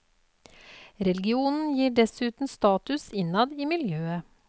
Religionen gir dessuten status innad i miljøet.